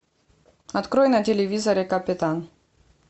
открой на телевизоре капитан